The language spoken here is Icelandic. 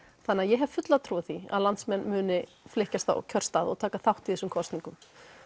þannig ég hef fulla trú á því að landsmenn muni flykkjast á kjörstað og taka þátt í þessum kosningum